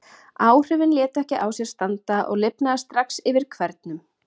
Áhrifin létu ekki á sér standa, og lifnaði strax yfir hvernum.